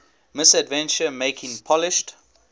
misadventure making polished